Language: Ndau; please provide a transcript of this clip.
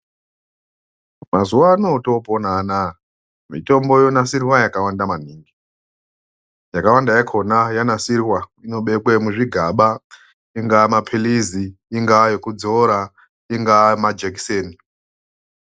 Mazuwa ano atopona anaya, mitombo yonasirwa yakawanda maningi, yakawanda yakona yanasirwa, inobekwe muzvigaba, ingaa mapilizi, ingaa ekudzora, ingaa majekiseni.